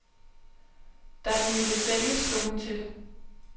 Da han ville sælge, slog hun til.